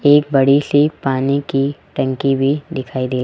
एक बड़ी सी पानी की टंकी भी दिखाई दे--